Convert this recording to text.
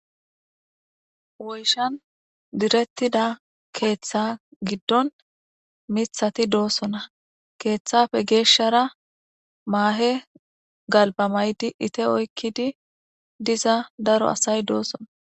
woyshan direttida keeththa giddon mithati doosona keeththafe geeshshara maahe galba maydi ite oykkidi diza daro asay doosona